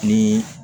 Ni